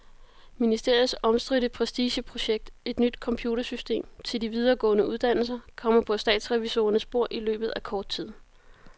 Ministeriets omstridte prestigeprojekt, et nyt computersystem til de videregående uddannelser, kommer på statsrevisorernes bord i løbet af kort tid.